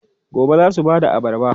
Gobe ​​za su ba da abarba?